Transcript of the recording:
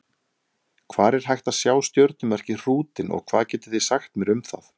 Hvar er hægt að sjá stjörnumerkið Hrútinn og hvað getið þið sagt mér um það?